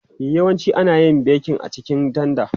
E, yawanci ana yin bekin a cikin tanda.